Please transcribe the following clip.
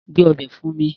Gbé ọbẹ̀ fún mí!